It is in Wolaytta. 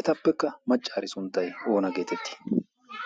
Etappekka maccaari sunttay oona geetettii?